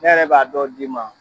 Ne yɛrɛ b'a dɔw d'i ma